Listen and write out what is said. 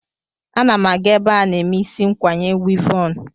Ana m aga ebe a na-eme isi ikwanye wivọn.